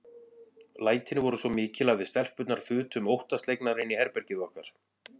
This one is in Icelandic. Lætin voru svo mikil að við stelpurnar þutum óttaslegnar inn í herbergið okkar.